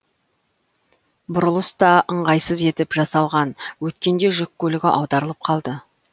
бұрылыс та ыңғайсыз етіп жасалған өткенде жүк көлігі аударылып қалды